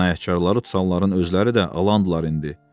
Cinayətkarları tutanların özləri də alandırlar indi.